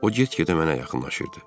O get-gedə mənə yaxınlaşırdı.